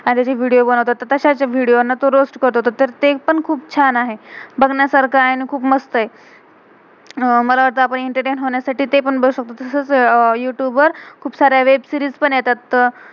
आणि त्याचे video video बनवतात. आणि तश्याच विडियो video ना तो रोअस्त करतो. तर ते पण खुप छान आहे. बघण्यासारखं आहे आणि खुप मस्त आहे. मला वाटतं आपण एंटरटेन entertain होण्यासाठी ते पण बघू शकतो. तसच यूतुब youtube वर खुप सार्या वेब सीरीज web-series पण येतात.